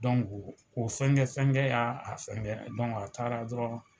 Donku o fɛn fɛnkɛ y'a fɛnkɛ dɔnku a taara dɔrɔn